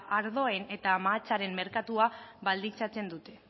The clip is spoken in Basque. ardoen eta mahatsaren merkatua baldintzatzen dute